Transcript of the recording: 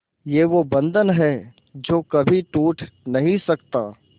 ये वो बंधन है जो कभी टूट नही सकता